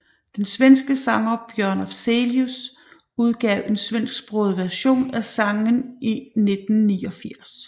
Den svenske sanger Björn Afzelius udgav en svensksproget version af sanggen i 1989